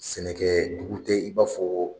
Sɛnɛkɛ dugu tɛ i b'a fɔ